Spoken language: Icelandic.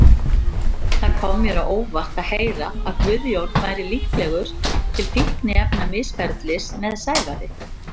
Það kom mér á óvart að heyra að Guðjón væri líklegur til fíkniefnamisferlis með Sævari.